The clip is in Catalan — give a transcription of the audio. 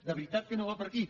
de veritat que no va per aquí